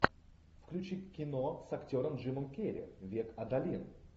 включи кино с актером джимом керри век адалин